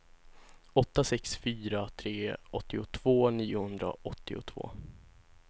åtta sex fyra tre åttiotvå niohundraåttiotvå